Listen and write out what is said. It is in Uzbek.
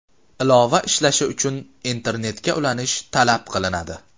Ilova ishlashi uchun internetga ulanish talab qilinadi.